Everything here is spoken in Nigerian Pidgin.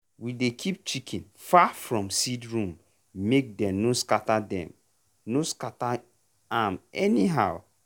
we dey keep chicken far from seed room make dem no scatter dem no scatter am anyhow.